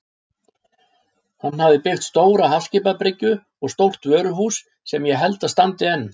Hann hafði byggt stóra hafskipabryggju og stórt vöruhús sem ég held að standi enn.